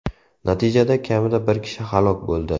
Natijada kamida bir kishi halok bo‘ldi.